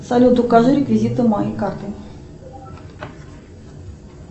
салют укажи реквизиты моей карты